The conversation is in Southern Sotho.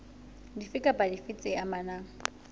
dife kapa dife tse amanang